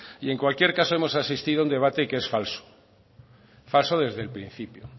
y en cualquier caso hemos asistido a un debate que es falso falso desde el principio